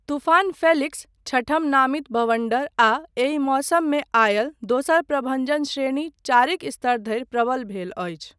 तूफान फेलिक्स, छठम नामित बवण्डर आ एहि मौसममे आयल दोसर प्रभञ्जन श्रेणी चारिक स्तर धरि प्रबल भेल अछि।